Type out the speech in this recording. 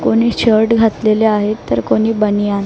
कोणी शर्ट घातलेले आहेत तर कोणी बनियान --